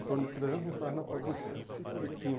em torno de trezentos funcionários na porta da empresa. E tinham